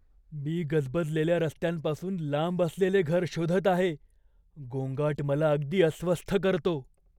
"मी गजबजलेल्या रस्त्यांपासून लांब असलेले घर शोधत आहे. गोंगाट मला अगदी अस्वस्थ करतो".